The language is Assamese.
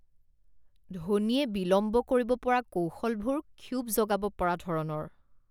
ধোনীয়ে বিলম্ব কৰিব পৰা কৌশলবোৰ ক্ষোভ জগাব পৰা ধৰণৰ